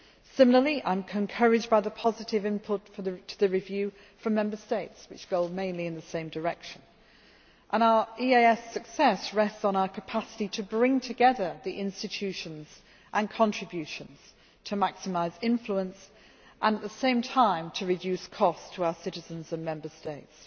Similarly, I am encouraged by the positive input to the review from Member States which goes mainly in the same direction, and our EEAS success rests on our capacity to bring together the institutions and contributions to maximise influence and at the same time to reduce costs to our citizens and Member States.